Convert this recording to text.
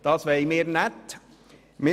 Das wollen wir «nät» .